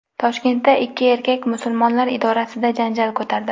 Toshkentda ikki erkak Musulmonlar idorasida janjal ko‘tardi.